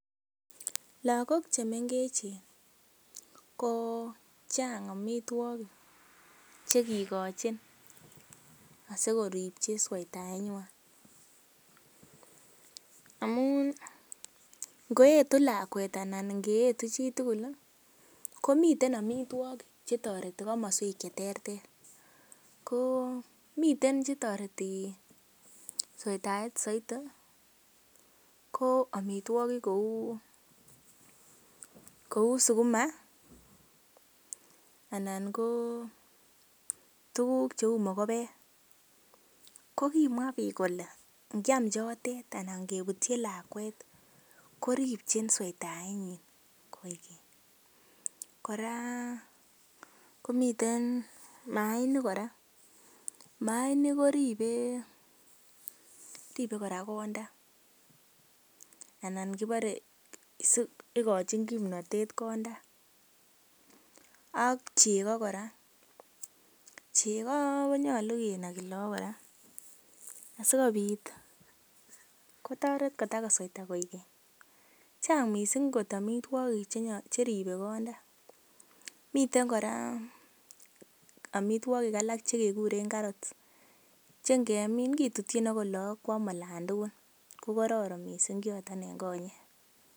Lagok che mengechen ko chang amitwogik che kigochin asikoripchi sweitaenywan. Amun ngoetu lakwet anan ngeyetu chitugul komiten amitwogik che toreti komoswek che terter. Ko miten che toreti sweitaet soiti ko amitwogiik kou: sukuma anan ko tuguk cheu mogobek. Ko kimwa biik kole ngyam chotet anan kebutyi lakwet koribchin sweitaet. Kora komiten, maainik kora, maainik koribe konda anan kibore, igochin kimnatet konda ak chego kora. Chego konyolu kinagi lagok kora sikobit kotoret kotakosweita koigeny. Chang mising amitwogik che ribe konda. Miten kora amitwogik alak che keguren carrots che ngemin kitutyin agot lagok koam alan tugul kokoron mising choto en konyek.